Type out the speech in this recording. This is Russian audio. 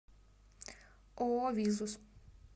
ооо визус